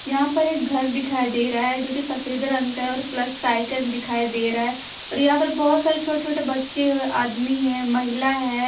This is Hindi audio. यहां पर एक घर दिखाई दे रहा है जो की सफेद रंग का है और प्लस का आयकन दिखाई दे रहा है और यहां पर बहोत सारे छोटे छोटे बच्चे होय आदमी है महिला है।